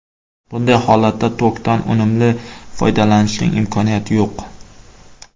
Bunday holatda tokdan unumli foydalanishning imkoniyati yo‘q.